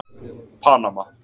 Panama